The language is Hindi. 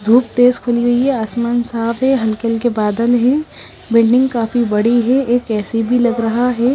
धुप तेज खुली हुई है आसमान साफ है हल्के हल्के बादल हैं बिल्डिंग काफी बड़ी है एक ए_सी भी लग रहा है।